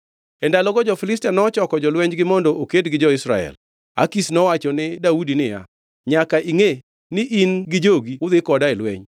E ndalogo jo-Filistia nochoko jolwenjgi mondo oked gi Israel. Akish nowacho ni Daudi niya, “Nyaka ingʼe ni in gi jogi udhi koda e lweny.”